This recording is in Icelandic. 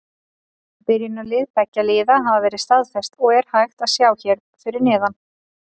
Byrjunarlið beggja liða hafa verið staðfest og er hægt að sjá hér fyrir neðan.